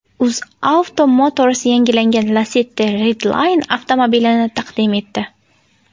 UzAuto Motors yangilangan Lacetti Redline avtomobilini taqdim etdi.